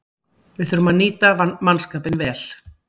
Við þurftum að nýta mannskapinn vel